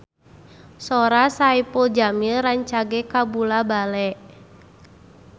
Sora Saipul Jamil rancage kabula-bale